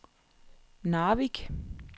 Narvik